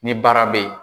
Ni baara be ye